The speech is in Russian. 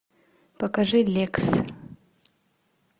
покажи лекс